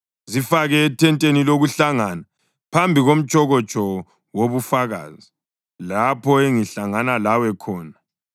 Zifake ethenteni lokuhlangana phambi komtshokotsho wobufakazi, lapho engihlangana lawe khona.